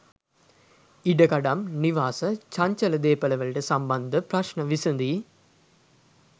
ඉඩකඩම් නිවාස චංචල දේපලවලට සම්බන්ධ ප්‍රශ්න විසඳී